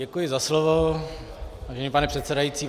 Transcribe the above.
Děkuji za slovo, vážený pane předsedající.